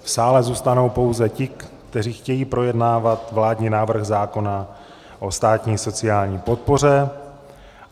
V sále zůstanou pouze ti, kteří chtějí projednávat vládní návrh zákona o státní sociální podpoře.